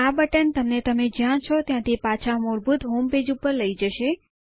આ બટન તમને તમે જ્યાં છો ત્યાંથી પાછા મૂળભૂત હોમ વેબપેજ ઉપર લઇ જશે